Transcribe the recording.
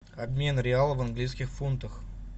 обмен реала в английских фунтах